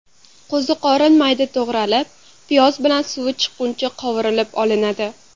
Qo‘ziqorin mayda to‘g‘ralib, piyoz bilan suvi chiqquncha qovurib olinadi.